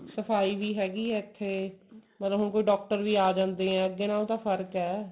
ਸਫਾਈ ਵੀ ਹੈਗੀ ਹੈ ਇੱਥੇ ਮਤਲਬ ਹੁਣ ਕੋਈ doctor ਵੀ ਆ ਜਾਂਦੇ ਐ ਅੱਗੇ ਨਾਲੋ ਤਾਂ ਫਰਕ ਐ